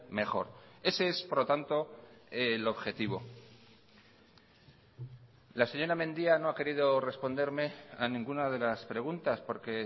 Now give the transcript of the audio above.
mejor ese es por lo tanto el objetivo la señora mendia no ha querido responderme a ninguna de las preguntas porque